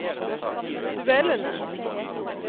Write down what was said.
duellene